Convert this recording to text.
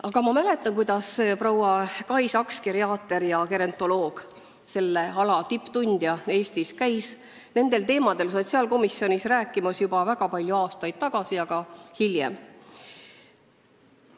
Aga ma mäletan, et proua Kai Saks, geriaater ja gerontoloog, selle ala tippasjatundja Eestis, käis nendel teemadel sotsiaalkomisjonis rääkimas juba väga palju aastaid tagasi ja on käinud ka hiljem.